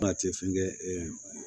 fɛnkɛ